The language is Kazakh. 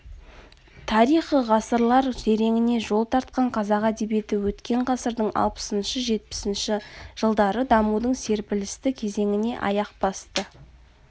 тарихы ғасырлар тереңіне жол тартқан қазақ әдебиеті өткен ғасырдың алпысыншы-жетпісінші жылдары дамудың серпілісті кезеңіне аяқ басты